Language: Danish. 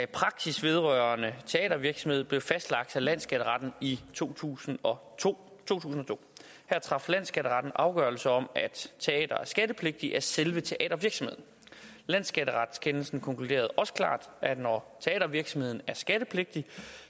praksis vedrørende teatervirksomhed blev fastlagt af landsskatteretten i to tusind og to her traf landsskatteretten afgørelse om at teatre er skattepligtige af selve teatervirksomheden landsskatteretskendelsen konkluderede også klart at når teatervirksomheden er skattepligtig